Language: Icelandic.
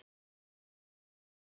Allt horfið.